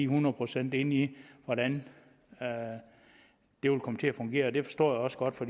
hundrede procent inde i hvordan det vil komme til at fungere det forstår jeg også godt for